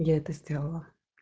я это сделала